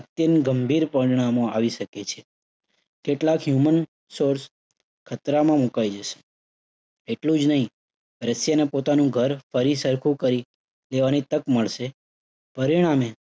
અત્યંત ગંભીર પરિણામો આવી શકે છે. કેટલાક human source ખતરામાં મુકાઈ જશે. એટલું જ નહિ, રશિયાને પોતાનું ઘર ફરી સરખું કરી દેવાની તક મળશે. પરિણામે,